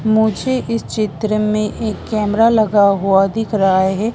मुझे इस चित्र में एक कैमरा लगा हुआ दिख रहा है।